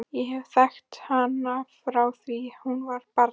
Ég hef þekkt hana frá því að hún var barn.